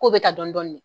K'o bɛ taa dɔɔnin dɔɔnin